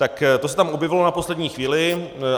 Tak to se tam objevilo na poslední chvíli.